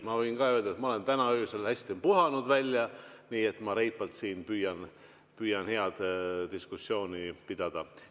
Ma võin ka öelda, et ma olen täna öösel hästi välja puhanud, nii et ma püüan reipalt siin head diskussiooni pidada.